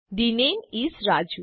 the name is Raju